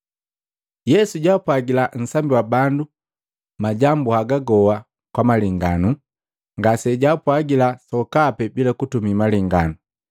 Yesu jaapwagila nsambi bandu majambu haga goa kwa malenganu. Ngase jaapwagila sokapi bila kutumii malenganu,